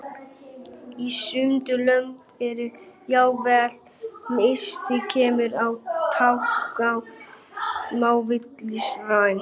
Í sumum löndum er jafnvel mállýskumunur á táknmáli milli landsvæða.